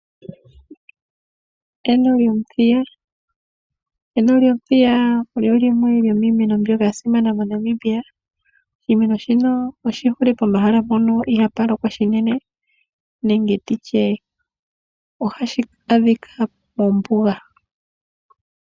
Eno lyomuthiya Eno lyomuthiya olyo limwe lyomiimeno mbyoka ya simana moNamibia. Oshimeno shino oshihole pohala mpono ihaa pu lokwa shinene nenge nditye ohashi adhika mombuga.